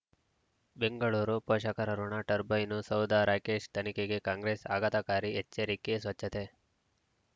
ಬೆಂಗಳೂರು ಪೋಷಕರಋಣ ಟರ್ಬೈನು ಸೌಧ ರಾಕೇಶ್ ತನಿಖೆಗೆ ಕಾಂಗ್ರೆಸ್ ಆಘಾತಕಾರಿ ಎಚ್ಚರಿಕೆ ಸ್ವಚ್ಛತೆ